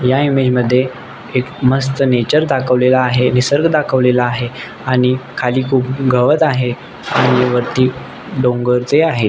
या इमेज मध्ये एक मस्त नेचअर दाखवलेला आहे मस्त निसर्ग दाखवलेला आहे आणि खाली खुप गवत आहे आणि वरती डोंगर चे आहे.